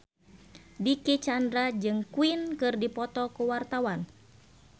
Dicky Chandra jeung Queen keur dipoto ku wartawan